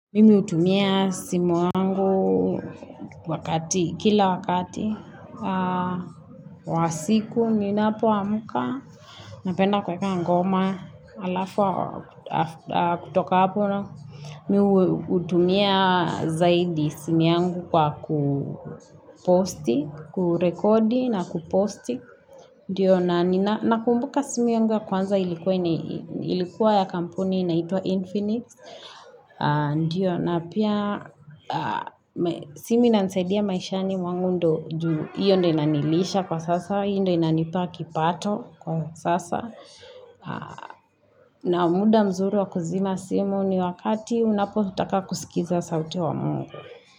Mimi utumia simu yangu wakati, kila wakati, wa siku, ninapoamuka, napenda kuweka ngoma, alafu kutoka hapo. Mimi utumia zaidi simu yangu kwa kuposti. Kurekodi na kuposti. Ndiyo, nakumbuka simu yangu ya kwanza ilikuwa ya kampuni inaitwa Infinix. Ndiyo, na pia simu inanisaidia maishani mwangu ndio juu. Hiyo ndo inanilisha kwa sasa. Hiyo ndiyo inanipa kipato kwa sasa. Na muda mzuri wa kuzima simu ni wakati unapotaka kusikiza sauti ya mungu.